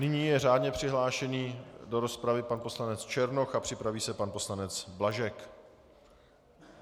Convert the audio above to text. Nyní je řádně přihlášený do rozpravy pan poslanec Černoch a připraví se pan poslanec Blažek.